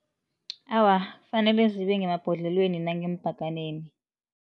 Awa, fanele zibe ngemabhodlelweni nangeembhaganeni.